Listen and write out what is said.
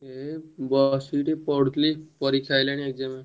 ଏଇ ବସିକି ଟିକେ ପଢୁଥିଲି ପରୀକ୍ଷା ଆସିଲାଣି exam